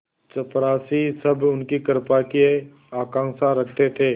चपरासीसब उनकी कृपा की आकांक्षा रखते थे